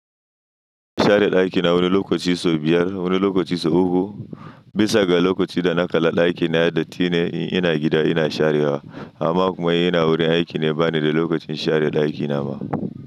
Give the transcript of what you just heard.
Share daki na wani lokaci sau biyar, wani lokaci sau uku. Bisa ga lokaci da na kala daki na yayi dattine in ina gida ina share wa. Amma kuma in ina wurin aiki ne ba ni da lokacin share daki na ba.